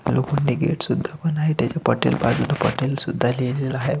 लोखंडी गेट सुद्धा पण आहे त्याच्या पाटीव बाजूला पटेल सुद्धा लिहिलेल आहे.